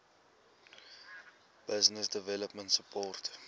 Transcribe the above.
business development support